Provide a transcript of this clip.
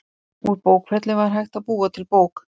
úr bókfelli var hægt að búa til bók